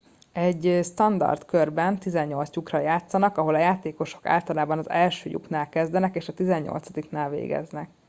egy standard körben 18 lyukra játszanak ahol a játékosok általában az első lyuknál kezdenek és a tizennyolcadiknál végeznek